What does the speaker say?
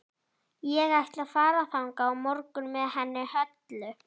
Ég ætla að fara þangað á morgun með henni Höllu.